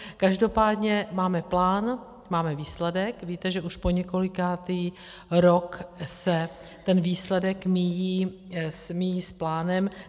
Každopádně máme plán, máme výsledek, víte, že už po několikátý rok se ten výsledek míjí s plánem.